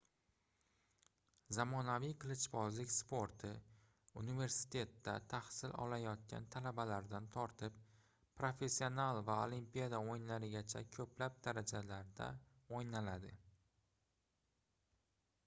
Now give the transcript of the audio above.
zamonaviy qilichbozlik sporti universitetda tahsil olayotgan talabalardan tortib professional va olimpiada oʻyinlarigacha koʻplab darajalarda oʻynaladi